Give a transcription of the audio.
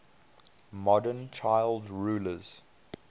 modern child rulers